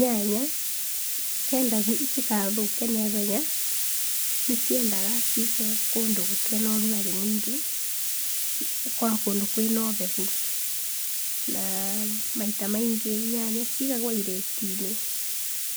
Nyanya ũngĩenda itigathũke na ihenya, nĩciendaga cigwe kũndũ gũtarĩ na ũrugarĩ mũingĩ. Ikorwo kũndũ kũrĩ na ũbebu na maita maingĩ nyanya nĩcigagwo irĩti-inĩ,